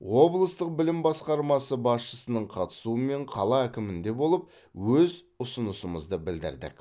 облыстық білім басқармасы басшысының қатысуымен қала әкімінде болып өз ұсынысымызды білдірдік